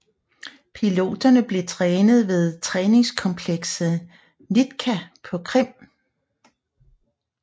Piloterne blev trænet ved træningskomplekset NITKA på Krim